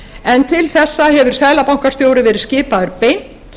en til þessa hefur seðlabankastjóri verið skipaður beint